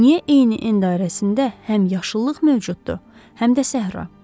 Niyə eyni en dairəsində həm yaşıllıq mövcuddur, həm də səhra?